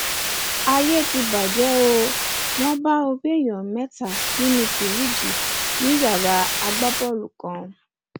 ayé ti bàjẹ ó wọn bá orí èèyàn mẹta nínú fìríìjì ní yàrá agbábọọlù kan